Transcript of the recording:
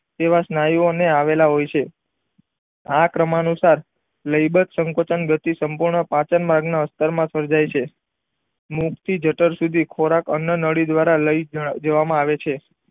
તેવા સ્નયુમય અંગ આવેલા હોય છે આ ક્રમ અનુસાર લઇબત સંકોચન ગતિ સંપૂણ પાચન માર્ગ માં અસ્થર માં સર્જાય છે મૂર્ખ થી જઠર સુધી ખોરાક અન્નનળી દ્વારા લય જય જવામાં આવે છે.